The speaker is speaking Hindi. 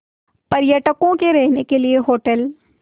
पर्यटकों के रहने के लिए होटल